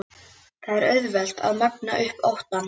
Það er auðvelt að magna upp óttann.